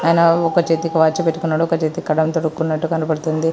ఒక చేతికి వాచి పెట్టుకున్నాడు. ఒక చేతికి కడియం తొడుక్కున్నట్టు కనపడుతుంది.